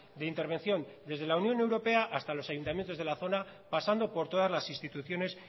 de intervención desde la unión europea hasta los ayuntamientos de la zona pasando por todas las instituciones